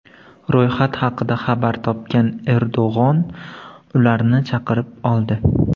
Ro‘yxat haqida xabar topgan Erdo‘g‘on ularni chaqirib oldi.